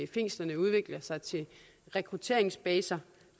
fængslerne udvikler sig til rekrutteringsbaser